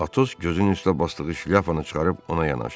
Atos gözünün üstə basdığı şlyapanı çıxarıb ona yanaşdı.